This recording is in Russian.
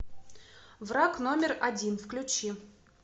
враг номер один включи